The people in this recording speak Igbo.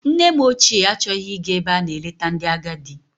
Nne m ochie achọghị ịga ebe a na-eleta ndị agadi.